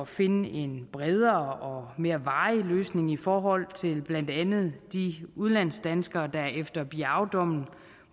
finde en bredere og mere varig løsning i forhold til blandt andet de udenlandsdanskere der efter biaodommen